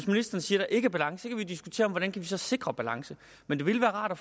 ministeren siger der ikke er balance kan vi diskutere hvordan vi så kan sikre balance men det ville være rart at